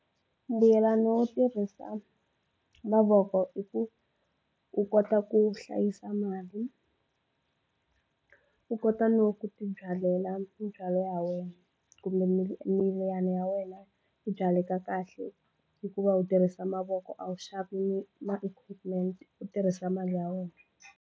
Mbuyelano wo tirhisa mavoko i ku u kota ku hlayisa mali u kota no ku tibyalela mibyalo ya wena kumbe mi ya wena yi byaleke kahle hikuva u tirhisa mavoko a wu xavi mi ma-equipment u tirhisa mali ya wena.